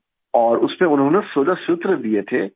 اور اس میں انہوں نے 16 سوتر دیے تھے